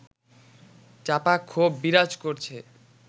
চাপা ক্ষোভ বিরাজ করছে